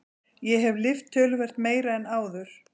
Ég hef lyft töluvert meira en áður.